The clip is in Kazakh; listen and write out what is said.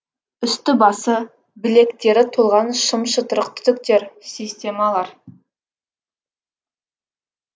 үсті басы білектері толған шым шытырық түтіктер системалар